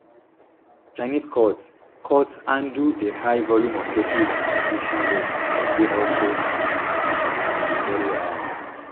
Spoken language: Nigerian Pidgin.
chinese courts courts handle a high volume of cases and conviction rates dey also um veri high